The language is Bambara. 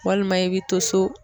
Walima i bi to so.